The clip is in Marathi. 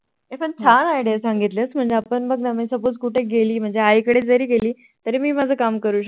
होई पण छान Idea सांगितलीस कि म्हणजे आतापण मी Suppose कुठे गेली म्हणजे आई कडे जरी गेली तरी मी माझं काम करू शकते